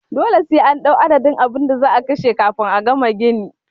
Dole sai an ɗau adadin abinda za'a kashe kafin a gama gini